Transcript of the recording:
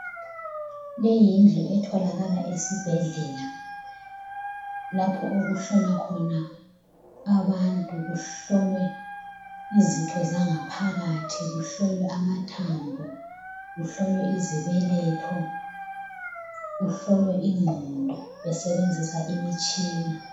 Leyi yindlu etholakala esibhedlela lapho okuhlolwa khona abantu, kuhlolwe izitho zangaphakathi, kuhlolwe amathambo, kuhlolwe izibeletho, kuhlolwe ingqondo, besebenzisa imitshina.